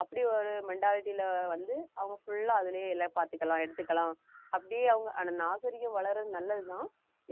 அப்படி ஒரு mentality ல வந்து அவங்க full லா அதிலேயே எல்லாம் பாத்துக்கலாம் எடுத்துக்கலாம் அப்படியே அவங்க அந்த நாகரீகம் வளர்றது நல்லது தான்